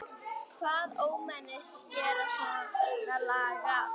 Hvaða ómenni gera svona lagað?